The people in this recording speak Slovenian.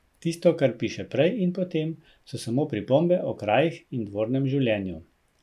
Tisto, kar piše prej in potem, so samo pripombe o krajih in dvornem življenju.